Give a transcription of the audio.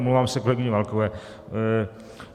Omlouvám se kolegyni Válkové.